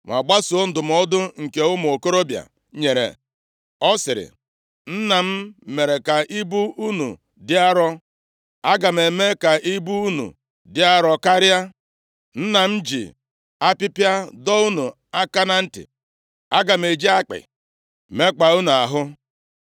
ma gbasoro ndụmọdụ nke ụmụ okorobịa nyere, ọ sịrị, “Nna m mere ka ibu unu dị arọ, aga m eme ka ibu unu dị arọ karịa. Nna m ji apịpịa dọọ unu aka na ntị, aga m eji akpị mekpaa unu ahụ.”